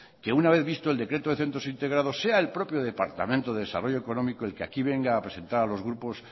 que una vez visto el decreto de centros integrados sea el propio departamento de desarrollo económico que aquí venga a presentar a los grupos